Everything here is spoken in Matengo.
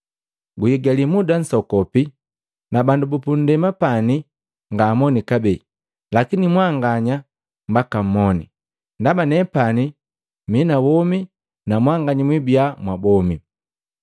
Guigali muda nsokopi, na bandu bupunndema pani ngaamoni kabee. Lakini mwanganya mbaka mmoni, ndaba nepani mi na womi, na mwanganya mwibia mwa bomi.